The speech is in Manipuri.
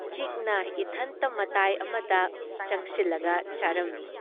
ꯆꯤꯛꯅ ꯏꯊꯟꯇ ꯃꯇꯥꯏ ꯑꯃꯗ ꯆꯪꯁꯤꯜꯂꯒ ꯆꯥꯔꯝꯃꯤ ꯫